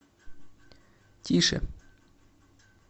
тише